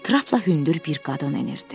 Trapla hündür bir qadın enirdi.